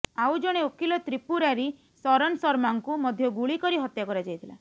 ଆଉ ଜଣେ ଓକିଲ ତ୍ରିପୁରାରି ଶରନ ଶର୍ମାଙ୍କୁ ମଧ୍ୟ ଗୁଳି କରି ହତ୍ୟା କରାଯାଇଥିଲା